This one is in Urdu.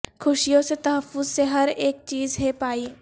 خوشیوں سے تحفظ سے ہر اک چیز ہے پائی